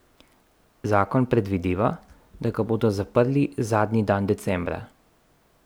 Zakon predvideva, da ga bodo zaprli zadnji dan decembra.